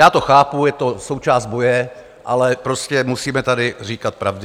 Já to chápu, je to součást boje, ale prostě musíme tady říkat pravdy.